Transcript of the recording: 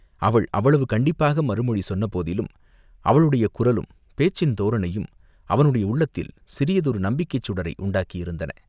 அவள் அவ்வளவு கண்டிப்பாக மறுமொழி சொன்ன போதிலும், அவளுடைய குரலும் பேச்சின் தோரணையும் அவனுடைய உள்ளத்தில் சிறியதொரு நம்பிக்கைச் சுடரை உண்டாக்கியிருந்தன.